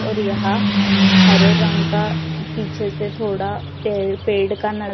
और यहां हरे रंग का पीछे से थोड़ा पेड़ का न--